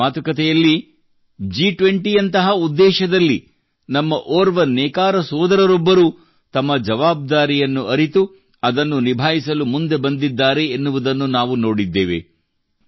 ಇಂದಿನ ಮಾತುಕತೆಯಲ್ಲಿ ಜಿ20 ಶೃಂಗಸಭೆಯಂತಹ ಉದ್ದೇಶದಲ್ಲಿ ನಮ್ಮ ಓರ್ವ ನೇಕಾರ ಸೋದರರೊಬ್ಬರು ತಮ್ಮ ಜವಾಬ್ದಾರಿಯನ್ನು ಅರಿತು ಅದನ್ನು ನಿಭಾಯಿಸಲು ಮುಂದೆ ಬಂದಿದ್ದಾರೆ ಎನ್ನುವುದನ್ನು ನಾವು ನೋಡಿದ್ದೇವೆ